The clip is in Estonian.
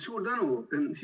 Suur tänu!